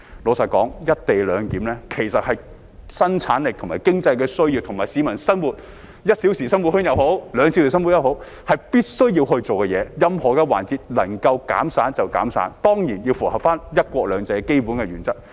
坦白說，"一地兩檢"其實是生產力和經濟的需要，而且無論為了市民的 "1 小時生活圈"也好，"兩小時生活圈"也好，是必須要做的事，任何環節能夠減省便應減省，當然要符合"一國兩制"的基本原則。